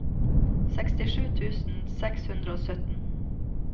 sekstisju tusen seks hundre og sytten